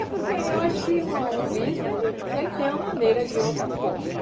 É porque eu acho que uma um bispo ele ele tem uma maneira de outras forma.